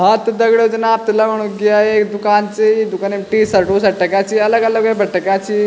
हाँ त दगडियों जन आपथे लगणु कि या एक दूकान च ये दुकनी म टी-शर्ट टू-शर्ट टंग्या छि अलग अलग वेफर टक्याँ छी।